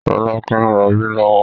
Rolake ń rọbí lọ́wọ́